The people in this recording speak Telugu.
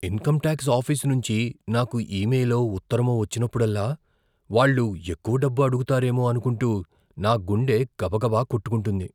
ఇన్కమ్ టాక్స్ ఆఫీస్ నుంచి నాకు ఇమెయిలో, ఉత్తరమో వచ్చినప్పుడల్లా, వాళ్ళు ఎక్కువ డబ్బు అడుగుతారేమో అనుకుంటూ నా గుండె గబా గబా కొట్టుకుంటుంది.